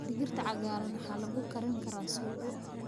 Digirta cagaaran waxaa lagu karin karaa suugo.